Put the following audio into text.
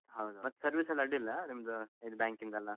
ಹೌದು ಹೌದು ಮತ್ತ್ service ಎಲ್ಲ ಅಡ್ಡಿಯಿಲ್ಲ ನಿಮ್ದು ಇದ್ banking ಅದ್ ಎಲ್ಲಾ.